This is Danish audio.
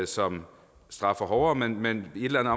som straffer hårdere men men i et eller